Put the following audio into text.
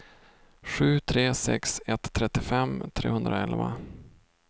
sju tre sex ett trettiofem trehundraelva